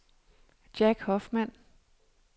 Jack Hoffmann